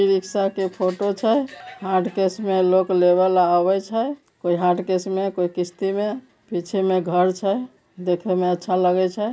यह एक रिक्शा के फोटो छे हार्ड केस में लोग लगावे छे कोई हार्ड केस में कोई केस देखने में अच्छा लगे छी।